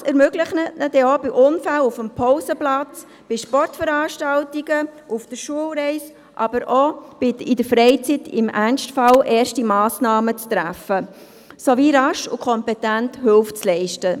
Dies ermöglicht ihnen dann auch, bei Unfällen auf dem Pausenplatz, bei Sportveranstaltungen, auf der Schulreise, aber auch in der Freizeit im Ernstfall erste Massnahmen zu treffen sowie rasch und kompetent Hilfe zu leisten.